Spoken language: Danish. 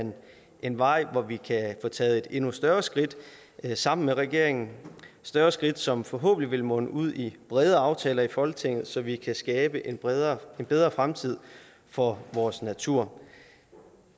en vej hvor vi kan få taget et endnu større skridt sammen med regeringen et større skridt som forhåbentlig vil munde ud i brede aftaler i folketinget så vi kan skabe en bedre bedre fremtid for vores natur